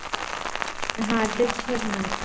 हा तेच करणार